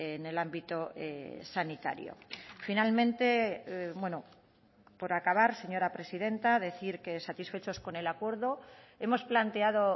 en el ámbito sanitario finalmente por acabar señora presidenta decir que satisfechos con el acuerdo hemos planteado